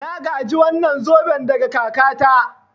Na gaji wannan zoben daga kakata.